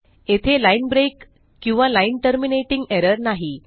येथे line break किंवा line terminating error नाही